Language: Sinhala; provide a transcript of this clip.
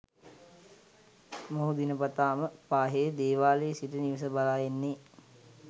මොහු දිනපතාම පාහේ දේවාලයේ සිට නිවස බලා එන්නේ